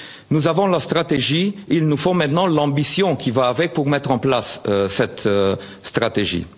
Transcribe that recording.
Green deal Nous avons la stratégie, il nous faut maintenant l'ambition qui va avec pour mettre en place cette